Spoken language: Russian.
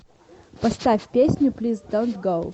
поставь песню плиз донт гоу